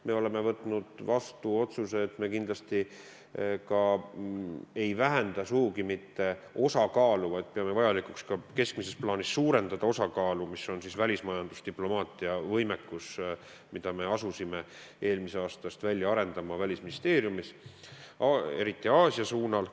Me oleme võtnud vastu otsuse, et me kindlasti ei vähenda osakaalu, vaid peame vajalikuks keskmises plaanis suurendada osakaalu, mis on välismajandusdiplomaatia võimekus, mida me Välisministeeriumis asusime eelmisest aastast välja arendama, eriti Aasia suunal.